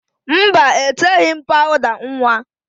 Mba, eteghi m pawụda nwa